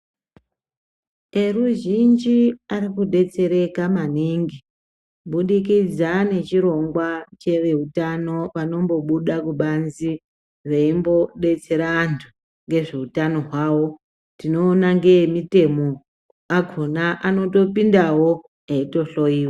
Eruzhinji arikudetsereka maningi kubudikidza nechirongwa cheveutano vanombobuda kubanzi veimbodetsera antu ngezveutano hwavo. Tinoona ngeemitemo akona anotopindawo eitohloyiwa